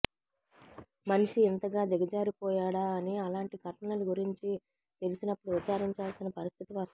మనిషి ఇంతగా దిగాజారిపోయాడా అని అలాంటి ఘటనలు గురించి తెలిసినపుడు విచారించాల్సిన పరిస్థితి వస్తుంది